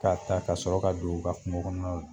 Ka ta , ka sɔrɔ ka don ka kunko kɔnɔna la.